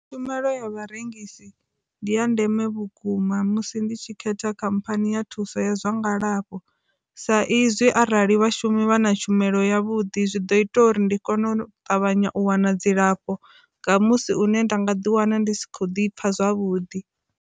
Tshumelo ya vharengisi ndi ya ndeme vhukuma musi ndi tshi khetha khamphani ya thuso ya zwa ngalafho sa izwi arali vhashumi vha na tshumelo ya vhuḓi zwi ḓo ita uri ndi kone u ṱavhanya u wana dzilafho nga musi une nda nga ḓi wana ndi si kho ḓi pfha zwavhuḓi.